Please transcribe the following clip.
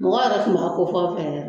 Mɔgɔ yɛrɛ tun b'a kofɔ n fɛ